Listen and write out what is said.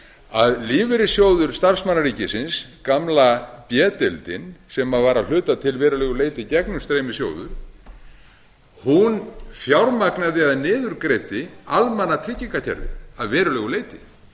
að lífeyrissjóður starfsmanna ríkisins gamla b deildin sem var að hluta til að verulegu leyti gegnumstreymissjóður fjármagnaði eða niðurgreiddi almannatryggingakerfið að verulegu leyti